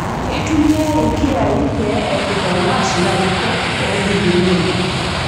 Keitumiai ilkiyai pee epik olng'ash larikok oogilunore